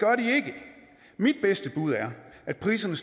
mit bedste bud er at priserne